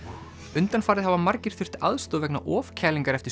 undanfarið hafa margir þurft aðstoð vegna ofkælingar eftir